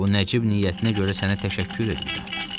Bu nəcib niyyətinə görə sənə təşəkkür eləyirəm.